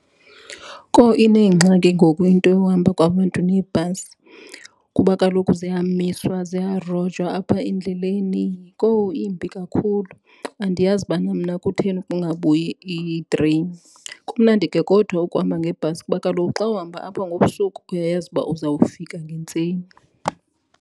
Kowu, ineengxaki ngoku into yohamba kwabantu ngeebhasi kuba kaloku ziyamiswa, ziyarojwa apha endleleni. Kowu, imbi kakhulu, andiyazi bana mna kutheni kungabuyi iitreyini. Kumnandi ke kodwa ukuhamba ngebhasi kuba kaloku xa uhamba apha ngobusuku uyayazi uba uzawufika ngentseni.